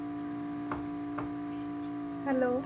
Hello